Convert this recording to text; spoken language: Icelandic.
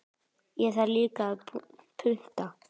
Það þarf líka að punta.